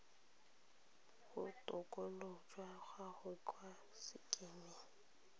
botokololo jwa gago kwa sekemeng